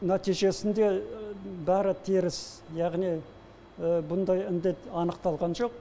нәтижесінде бәрі теріс яғни бұндай індет анықталған жоқ